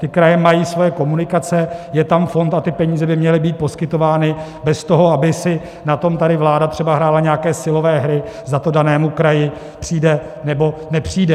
Ty kraje mají své komunikace, je tam fond a ty peníze by měly být poskytovány bez toho, aby si na tom tady vláda třeba hrála nějaké silové hry, zda to danému kraji přijde, nebo nepřijde.